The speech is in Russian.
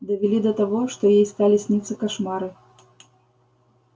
довели до того что ей стали сниться кошмары